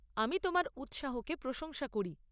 আমি তোমার উৎসাহকে প্রশংসা করি।